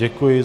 Děkuji.